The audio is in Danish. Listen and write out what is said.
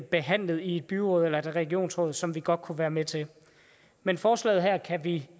behandlet i et byråd eller et regionsråd som vi godt kunne være med til men forslaget her kan vi